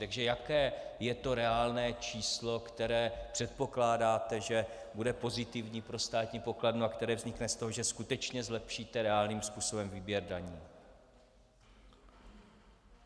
Takže jaké je to reálné číslo, které předpokládáte, že bude pozitivní pro státní pokladnu, a které vznikne z toho, že skutečně zlepšíte reálným způsobem výběr daní?